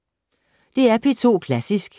DR P2 Klassisk